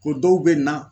Ko dɔw bɛ na